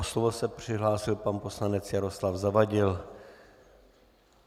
O slovo se přihlásil pan poslanec Jaroslav Zavadil.